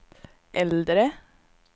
äldre